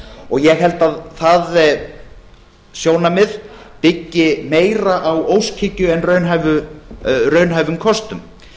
og ég held að það sjónarmið byggi meira á óskhyggju en raunhæfum kostum